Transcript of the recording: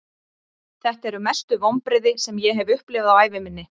Þetta eru mestu vonbrigði sem ég hef upplifað á ævi minni.